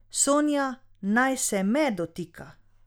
Sonja naj se me dotika.